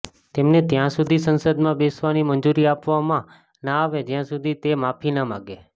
તેમને ત્યાં સુધી સંસદમાં બેસવાની મંજૂરી આપવામાં ના આવે જ્યાં સુધી તે માફી ના માંગે